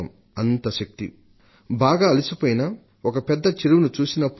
అంత శక్తి బాగా అలిసిపోయినా ఒక పెద్ద చెరువును చూసినప్పుడు